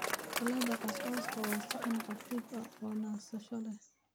Salad Couscous waa saxan khafiif ah oo nasasho leh.